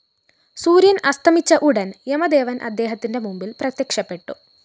സൂര്യന്‍ അസ്തമിച്ച ഉടന്‍ യമദേവന്‍ അദ്ദേഹത്തിന്റെ മുമ്പില്‍ പ്രത്യക്ഷപ്പെട്ടു